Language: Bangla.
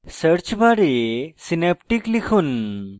search bar synaptic লিখুন